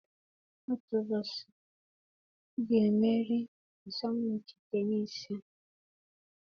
Otu ụbọchị, m ga-emeri asọmpi tenisii a.